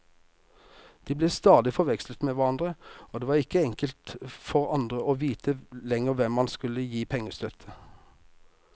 De ble stadig forvekslet med hverandre, og det var ikke enkelt for andre å vite lenger hvem man skulle gi pengestøtte.